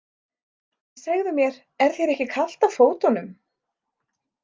En segðu mér, er þér ekki kalt á fótunum?